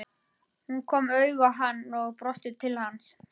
Hún kom auga á hann og brosti til hans.